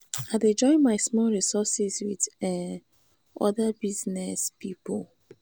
i dey join my small resource wit um oda small business pipo.